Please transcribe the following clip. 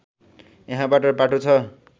यहाँबाट बाटो छ